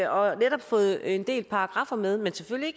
og har fået en del paragraffer med men selvfølgelig